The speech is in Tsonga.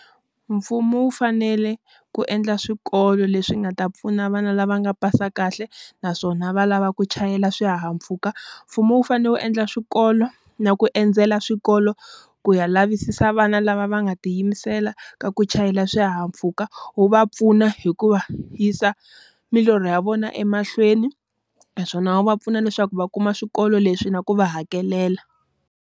Mfumo wu fanele ku endla swikolo leswi nga ta pfuna vana lava nga pasa kahle, naswona va lava ku chayela swihahampfhuka. Mfumo wu fanele wu endla swikolo na ku endzela swikolo ku ya lavisisa vana lava va nga tiyimisela ka ku chayela swihahampfhuka, wu va pfuna hi ku va yisa milorho ya vona emahlweni. Naswona va va pfuna leswaku va kuma swikolo leswi na ku va hakelela.